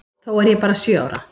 Þó er ég bara sjö ára.